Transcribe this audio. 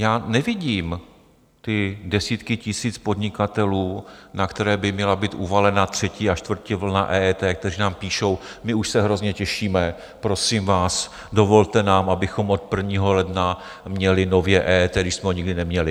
Já nevidím ty desítky tisíc podnikatelů, na které by měla být uvalena třetí a čtvrtá vlna EET, kteří nám píší: My už se hrozně těšíme, prosím vás, dovolte nám, abychom od 1. ledna měli nově EET, když jsme ho nikdy neměli.